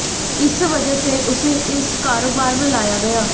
इस वजह से उसे इस कारोबार में लाया गया